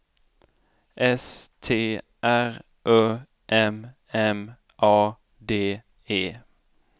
S T R Ö M M A D E